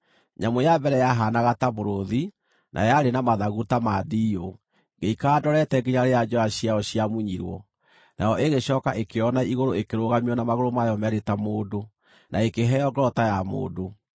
“Nyamũ ya mbere yahaanaga ta mũrũũthi, na yarĩ na mathagu ta ma ndiiyũ. Ngĩikara ndorete nginya rĩrĩa njoya ciayo ciamunyirwo, nayo ĩgĩcooka ĩkĩoywo na igũrũ ĩkĩrũgamio na magũrũ mayo meerĩ ta mũndũ, na ĩkĩheo ngoro ta ya mũndũ.